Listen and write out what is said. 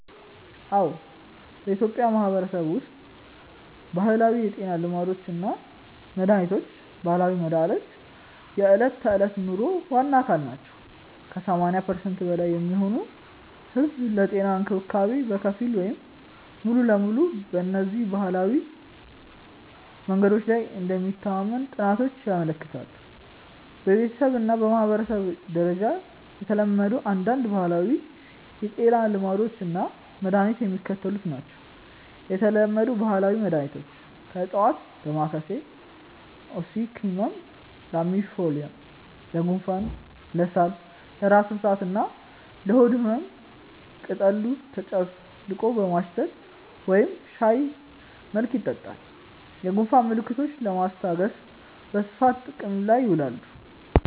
አዎ፣ በኢትዮጵያ ማህበረሰብ ውስጥ ባህላዊ የጤና ልማዶች እና መድሃኒቶች (ባህላዊ መድሃኒት) የዕለት ተዕለት ኑሮ ዋና አካል ናቸው። ከ80% በላይ የሚሆነው ህዝብ ለጤና እንክብካቤ በከፊል ወይም ሙሉ በሙሉ በእነዚህ ባህላዊ መንገዶች ላይ እንደሚተማመን ጥናቶች ያመለክታሉ። በቤተሰብ እና በማህበረሰብ ደረጃ የተለመዱ አንዳንድ ባህላዊ የጤና ልማዶች እና መድኃኒቶች የሚከተሉት ናቸው የተለመዱ ባህላዊ መድኃኒቶች (ከዕፅዋት) ደማካሴ (Ocimum lamiifolium): ለጉንፋን፣ ለሳል፣ ለራስ ምታት እና ለሆድ ህመም ቅጠሉ ተጨፍልቆ በማሽተት ወይም በሻይ መልክ ይጠጣል። የጉንፋን ምልክቶችን ለማስታገስ በስፋት ጥቅም ላይ ይውላል።